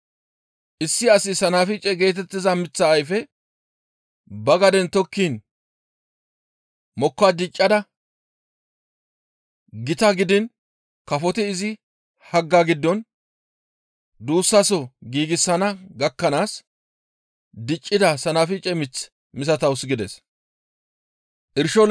Issi asi Sanafice geetettiza miththa ayfe ba gaden tokkiin mokka diccada gita gidiin kafoti izi hagga giddon duussaso giigsana gakkanaas diccida sanafice mith misatawus» gides.